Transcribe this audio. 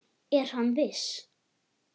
Er hann viss?